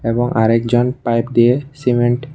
এবং আর একজন পাইপ দিয়ে সিমেন্ট --